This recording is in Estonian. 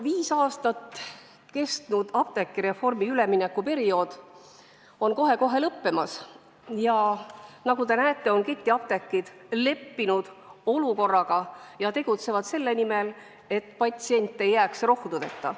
Viis aastat kestnud apteegireformi üleminekuperiood on kohe-kohe lõppemas ja nagu te näete, on ketiapteegid olukorraga leppinud ja tegutsevad selle nimel, et patsient ei jääks rohtudeta.